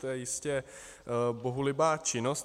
To je jistě bohulibá činnost.